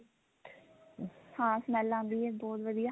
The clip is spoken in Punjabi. ਹਾਂ smell ਆਂਦੀ ਹੈ ਬਹੁਤ ਵਧੀਆ